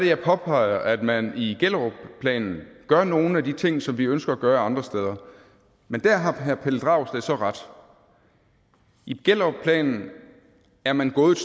jeg påpeger at man i gellerupplanen gør nogle af de ting som vi ønsker at gøre andre steder men der har herre pelle dragsted så ret i gellerupplanen er man gået